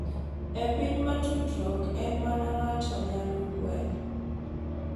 E piny ma tudruok en mana ng’ato nyalo gwel.